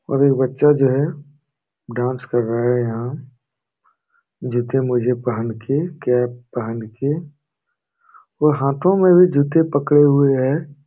और एक बच्चा जो है डांस कर रहा है यहां जूते मोजे पहन के कैप पहन के और हाथों में भी जूते पकड़े हुए है।